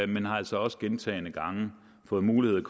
men har altså også gentagne gange fået mulighed